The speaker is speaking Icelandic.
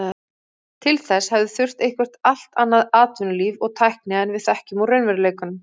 Til þess hefði þurft eitthvert allt annað atvinnulíf og tækni en við þekkjum úr raunveruleikanum.